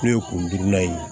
N'o ye kurudila ye